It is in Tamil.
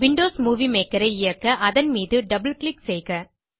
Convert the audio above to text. விண்டோஸ் மூவி மேக்கர் ஐ இயக்க அதன் மீது டபிள் கிளிக் செய்க